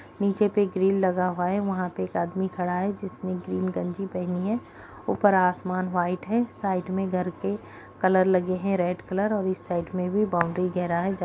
नीचे पे ग्रिल लगा हुआ है वहाँ पे एक आदमी खड़ा है जिसने ग्रीन गंजी पेहनी है ऊपर आसमान वाइट है साइड में घर के कलर लगे है रेड कलर और इस साइड में भी बाउंड्री घेरा है।